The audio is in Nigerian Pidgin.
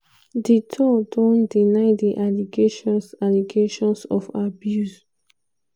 duterte don deny di allegations allegations of abuse.